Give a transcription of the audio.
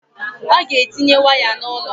Ọ ga-etinye waya n'ụlọ